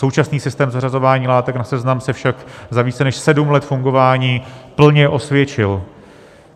Současný systém zařazování látek na seznam se však za více než sedm let fungování plně osvědčil.